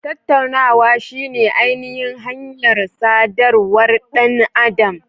Tattaunawa shine ainihin hanyar sadarwar ɗan adam.